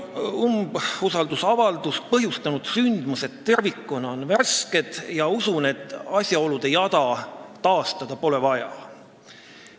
Umbusaldusavalduse põhjustanud sündmused tervikuna on värsked, nii et tervet asjaolude jada taastada pole usutavasti vaja.